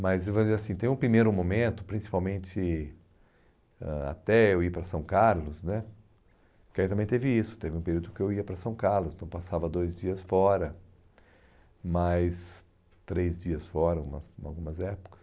Mas tem um primeiro momento, principalmente ãh até eu ir para São Carlos né, que aí também teve isso, teve um período que eu ia para São Carlos, então passava dois dias fora, mais três dias fora em umas em algumas épocas.